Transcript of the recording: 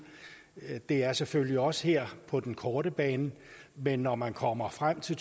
er der selvfølgelig også her på den korte bane men når man kommer frem til